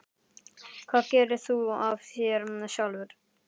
Hvað gerðir þú af þér sjálfur?